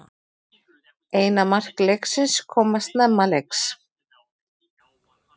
Eina mark leiksins koma snemma leiks